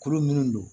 Kuru minnu don